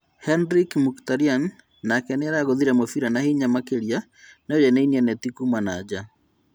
Henrick Mkhitaryan nake nĩaraguthire mũbira na hinya makĩria no yainainia neti Kuma na nja